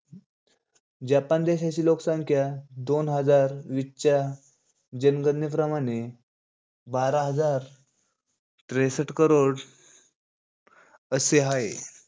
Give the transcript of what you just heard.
Japan देशाची लोकसंख्या दोन हजार वीस च्या जनगणनेप्रमाणे बारा हजार त्रेसट करोड असे आहे.